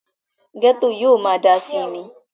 gẹ́tò yóò máa dáa síi ni